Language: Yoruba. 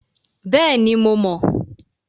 Bẹ́ẹ̀ni, mo mọ̀.